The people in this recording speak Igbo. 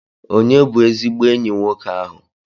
Ònye bụ ezigbo enyi nwoke ahụ?